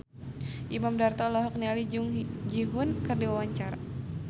Imam Darto olohok ningali Jung Ji Hoon keur diwawancara